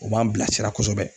O b'an bilasira kosɛbɛ